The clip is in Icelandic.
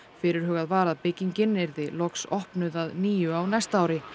fyrirhugað var að byggingin yrði loks opnuð að nýju á næsta ári